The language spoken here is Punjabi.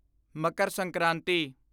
ਮਕਰ ਸੰਕ੍ਰਾਂਤੀ